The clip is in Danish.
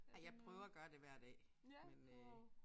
Ej jeg prøver at gøre det hver dag men øh